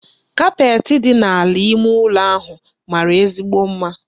Kapeetị dị n'ala ime ụlọ ahụ mara ezigbo mma.